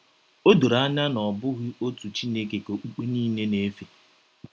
O doro anya na ọ bụghị otu Chineke ka okpukpe niile na - efe.